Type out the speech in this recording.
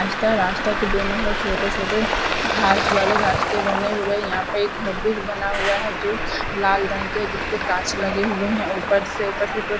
रास्ता है रास्ता के दोनों तरफ छोटे छोटे घास वाले रास्ते बने हुए यहा पे एक घर भी बना हुआ है जो लाल रंग के जिसपे काँच लगे हुए है और ऊपर से ऊपर --